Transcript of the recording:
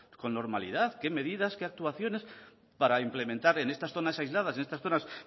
con normalidad qué medidas qué actuaciones para implementar en estas zonas aisladas en estas zonas